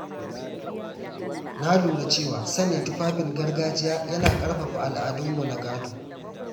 Na lura cewa sanya tufafin gargajiya yana ƙarfafa al’adunmu na gado.